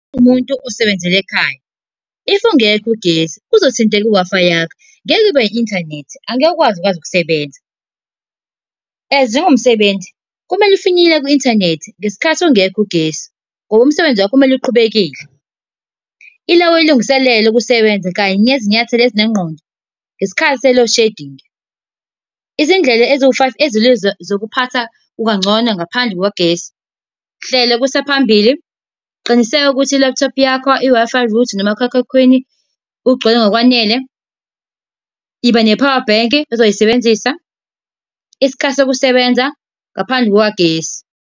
Umuntu osebenzela ekhaya. If ungekho ugesi, kuzothinteka, u-Wi-Fi wakho, ngeke ube ne-inthanethi, angeke ukwazi kwazi ukusebenza. As njengomsebenzi, kumele ufinyelele ku-inthanethi ngesikhathi ungekho ugesi, ngoba umsebenzi wakho kumele uqhubekile. Ila uyilungiselela ukusebenza kanye nezinyathelo ezinengqondo, ngesikhathi se-load shedding. Izindlela eziwu-five ezilula zokuphatha kukangcono ngaphandle kukagesi. Hlela kusaphambili. Qiniseka ukuthi i-laptop yakho i-Wi-Fi router, nomakhalekhukhwini kugcwele ngokwanele. Iba ne-power bank ozoyisebenzisa. Isikhathi sokusebenza ngaphandle kukagesi.